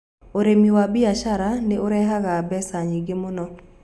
Ũrĩmi wa biacara nĩ ũrehaga mbeca nyingĩ mũno.